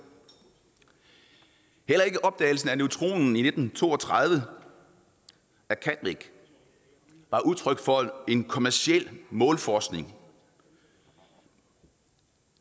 heller ikke opdagelsen af neutronen i nitten to og tredive af chadwick var udtryk for en kommerciel målforskning og